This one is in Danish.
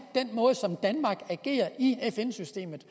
den måde som danmark agerer i fn systemet